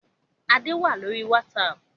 Adé wá lórí "WhatsApp"